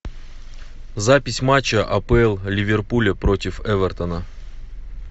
запись матча апл ливерпуля против эвертона